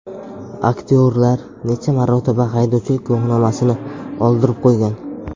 Aktyorlar necha marotaba haydovchilik guvohnomasini oldirib qo‘ygan?.